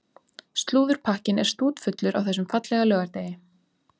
Slúðurpakkinn er stútfullur á þessum fallega laugardegi.